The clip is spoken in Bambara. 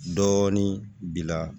Dɔɔnin bila